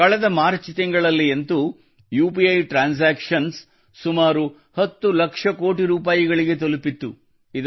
ಕಳೆದ ಮಾರ್ಚ್ ತಿಂಗಳಲ್ಲಿ ಅಂತೂ ಯುಪಿಐ ಟ್ರಾನ್ಸಾಕ್ಷನ್ ಸುಮಾರು ಹತ್ತು ಲಕ್ಷ ಕೋಟಿ ರೂಪಾಯಿಗಳಿಗೆ ತಲುಪಿತ್ತು